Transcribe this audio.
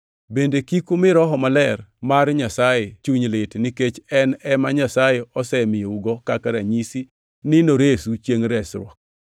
Bende kik umi Roho Maler mar Nyasaye chuny lit nikech en ema Nyasaye osemiyougo kaka ranyisi ni noresu chiengʼ resruok.